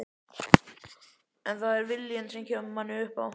En það er viljinn sem kemur manni upp á